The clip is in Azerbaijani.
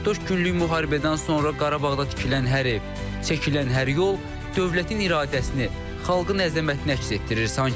44 günlük müharibədən sonra Qarabağda tikilən hər ev, çəkilən hər yol dövlətin iradəsini, xalqın əzəmətini əks etdirir sanki.